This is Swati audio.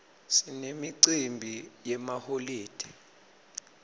sinemicimbi yemaholide